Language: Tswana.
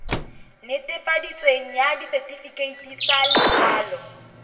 netefaditsweng ya setefikeiti sa lokwalo